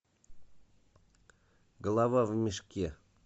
голова в мешке